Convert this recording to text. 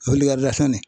O wilikari da fɛn ne